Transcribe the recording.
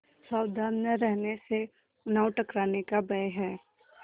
सावधान न रहने से नाव टकराने का भय है